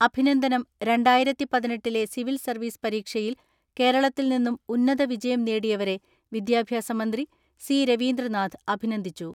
അഭിനന്ദനം രണ്ടായിരത്തിപതിനെട്ടിലെ civil service പരീക്ഷയിൽ കേരളത്തിൽ നിന്നും ഉന്നത വിജയം നേടിയവരെ വിദ്യാഭ്യാസ മന്ത്രി സി രവീന്ദ്രനാഥ് അഭിനന്ദിച്ചു.